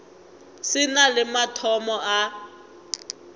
se na le mathomo a